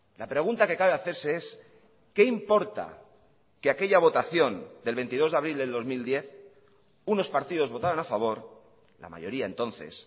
la pregunta que cabe hacerse es qué importa que aquella votación del veintidós de abril del dos mil diez unos partidos votaron a favor la mayoría entonces